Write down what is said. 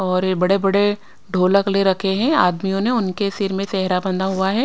और ये बड़े-बड़े ढोलक ले रखे हैं आदमियों ने उनके सिर में सेहरा बंधा हुआ है।